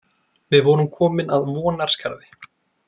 Við vorum komin að Vonarskarði.